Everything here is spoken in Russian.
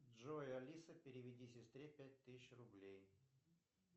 джой алиса переведи сестре пять тысяч рублей